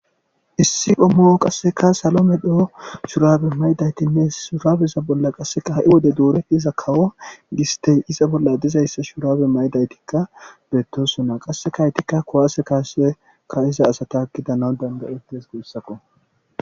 issi ommo qasseka salomedho shurabe maydaytinne shurabeza bolla qasseka ha7i wode duure iza kawo gistey iza bolla dizayssa shurabe maydaytikka beettosuna qassekaytikka kowaase kaasekka iza asata kida naw dandayetes guyssakko